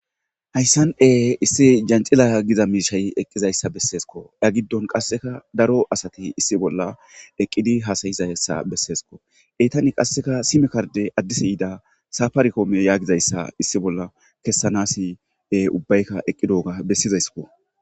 Hayssane issi jancilaya giza miishay eqqizayssa besesko ya giddon qasseka daro asati issi bolla eqqidi hasayizassa besseesko eytani qasseka simekarde addisi yiida safarikoomiyo yaagizayssa issi bolla kessanasi ubbaykka eqqidoga bessizayskko.